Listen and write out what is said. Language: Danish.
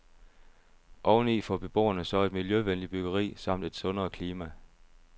Oveni får beboerne så et miljøvenligt byggeri samt et sundere klima.